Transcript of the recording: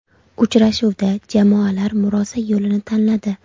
Uchrashuvda jamoalar murosa yo‘lini tanladi.